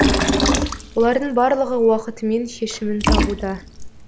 олардың барлығы уақытымен шешімін табуда